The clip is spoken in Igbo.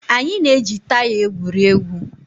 Anyị na-eji taya egwuri egwu